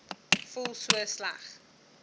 voel so sleg